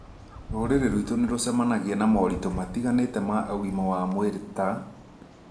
Rũrĩrĩ rwitũ nĩ rũracemania na moritũ matiganĩte ma ũgima wa mwĩrĩ ta: